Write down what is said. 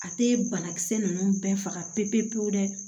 A tɛ banakisɛ ninnu bɛɛ faga pewu pewu pewu dɛ